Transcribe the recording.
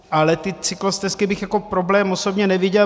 Ale ty cyklostezky bych jako problém osobně neviděl.